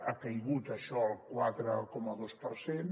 ha caigut això al quatre coma dos per cent